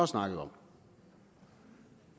snakket om